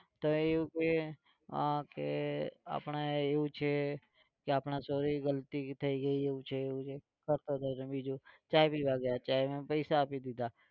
તો એ એવું કે આ કે આપણે એવું છે કે આપણે sorry ગલતી થઇ ગઈ છે એવું છે એવું છે કરતો હતો બીજું, ચા પીવા ગયા ચા ના પૈસા આપી દીધા.